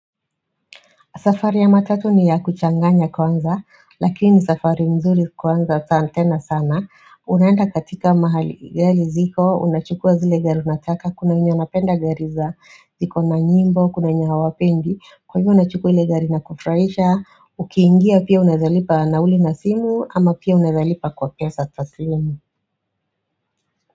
Safari ya matatu ni ya kuchanganya kwanza, lakini safari mzuri kwanza sa antena sana unaenda katika mahali gali ziko, unachukua zile gari unataka, kuna wenye wanapenda gari za ziko na nyimbo, kuna wenye hawapendi kwa hivyo unachukua zile gari na kufraisha, ukiingia pia unaezalipa nauli na simu ama pia unaezalipa kwa pia kwa pesa taslimu.